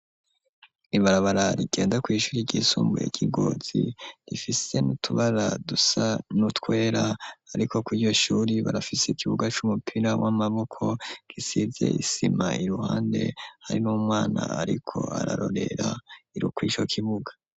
Ibarabara rigenda kwishuri ry'isumbuye ryi Ngozi rifise n'utubara dusa n'utwera ariko kuriryo shuri barafise ikibuga c'umupira w'amaboko gisize isima iruhande hari n'umwana ariko ararorera ari kwico kibuga.